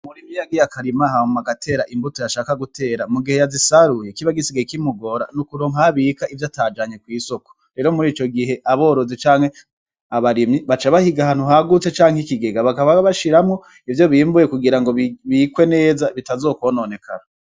Muri ivyo yagiye akarimahabma agatera imbuto yashaka gutera mu gihe yazisaruye kibagisige kimugora n'ukuro nkabika ivyo atajanye kw'isoko rero muri ico gihe aborozi canke abarimyi baca bahiga hantu hagutse canke ikigega bakaba bashiramwo ivyo bimbuye kugira ngo bikwe neza bitazokwononekara.